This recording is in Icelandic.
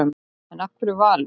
En af hverju Valur?